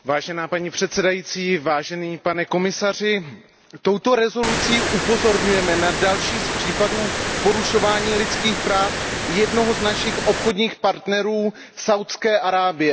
Paní předsedající, pane komisaři, touto rezolucí upozorňujeme na další z případů porušování lidských práv jednním z našich obchodních partnerů, Saúdskou Arábií.